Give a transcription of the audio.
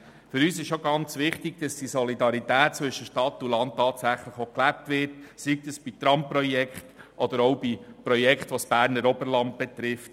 Für uns ist es auch sehr wichtig, dass die Solidarität zwischen Stadt und Land tatsächlich gelebt wird, sei das bei Tramprojekten oder bei Projekten, die das Berner Oberland betreffen.